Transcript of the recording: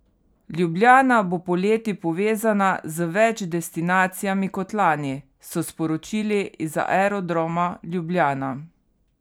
Ljubljana bo poleti povezana z več destinacijami kot lani, so sporočili iz Aerodroma Ljubljana.